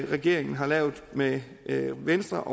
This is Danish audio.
regeringen har lavet med venstre